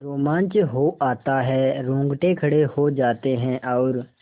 रोमांच हो आता है रोंगटे खड़े हो जाते हैं और